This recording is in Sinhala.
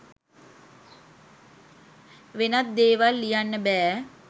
වෙනත් දේවල් ලියන්න බෑ.